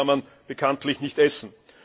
Und Papier kann man bekanntlich nicht essen.